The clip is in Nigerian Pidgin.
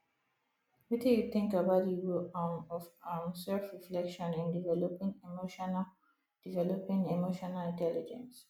wetin you think about di role um of um selfreflection in developing emotional developing emotional intelligence